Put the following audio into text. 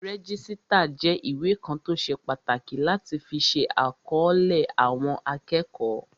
Rẹ́jísítà jẹ́ ìwé kan tó ṣe pàtàkì láti fi ṣe àkọlé àwọn akẹ́kọ̀ọ́